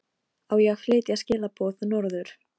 Herborg, hvernig kemst ég þangað?